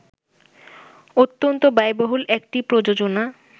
অত্যন্ত ব্যয়বহুল একটি প্রযোজনা